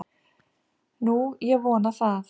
Nú, ég vona það.